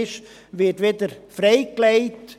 Dieser wird wieder freigelegt.